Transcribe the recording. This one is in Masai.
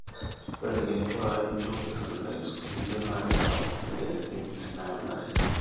ore irkiek laijo pesticides o kulie naa keyau moyiaritin teneyengari